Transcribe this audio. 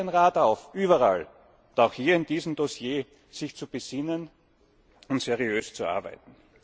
Ich fordere den Rat auf, überall und auch hier bei diesem Dossier sich zu besinnen und seriös zu arbeiten.